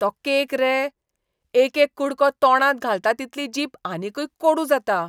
तो केक रे? एकेक कुडको तोंडांत घालता तितली जीब आनीकय कोडू जाता.